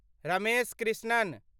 Ramesh Krishnan